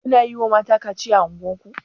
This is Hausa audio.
Kuna yiwa mata kaciya a unguwar ku.